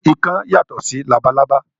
Ikán yàtọ̀ sí labalábá